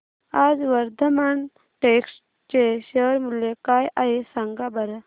आज वर्धमान टेक्स्ट चे शेअर मूल्य काय आहे सांगा बरं